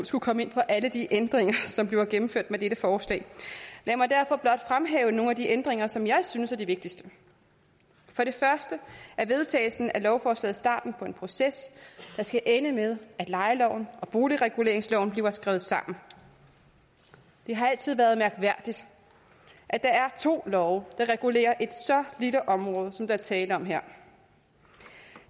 skulle komme ind på alle de ændringer som bliver gennemført med dette forslag lad mig derfor blot fremhæve nogle af de ændringer som jeg synes er de vigtigste for det første er vedtagelsen af lovforslaget starten på en proces der skal ende med at lejeloven og boligreguleringsloven bliver skrevet sammen det har altid været mærkværdigt at der er to love der regulerer et så lille område som der er tale om her